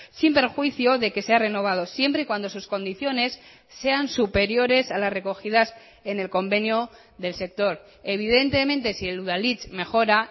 sin perjuicio de que sea renovado siempre y cuando sus condiciones sean superiores a las recogidas en el convenio del sector evidentemente si el udalhitz mejora